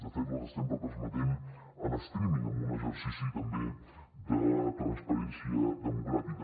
de fet les estem retransmetent en streaming en un exercici també de transparència democràtica